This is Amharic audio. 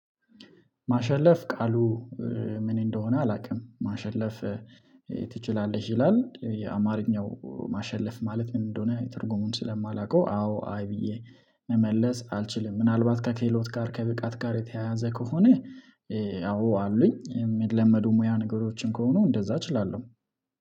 ማሸለፍ ቃሉ ምን እንደሆነ አላውቅም። ማሸለፍ ትችላለሽ ይላል። የአማርኛው ማሸለፍ ማለት ምን እንደሆነ ትርጉሙን ስለማላውቀው አዎ አይ ብዬ መመለስ አልችልም። ምናልባት ከክህሎት ጋር ከብቃት ጋር የተያያዘ ከሆነ አው አሉኝ የሚለመዱ ሙያ ነገሮችን ከሆኑ እንደዛ እችላለሁ።